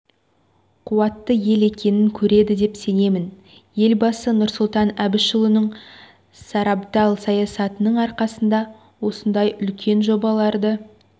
қуатты ел екенін көреді деп сенемін елбасы нұрсұлтан әбішұлының сарабдал саясатының арқасында осындай үлкен жобаларды